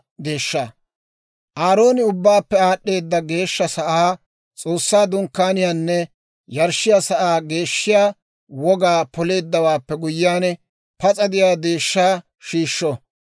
«Aarooni Ubbaappe Aad'd'eeda Geeshsha Sa'aa, S'oossaa Dunkkaaniyaanne yarshshiyaa sa'aa geeshshiyaa wogaa poleeddawaappe guyyiyaan, pas'a de'iyaa deeshshaa shiishsho.